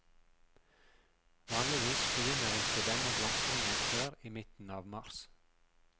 Vanligvis begynner ikke denne blomstringen før i midten av mars.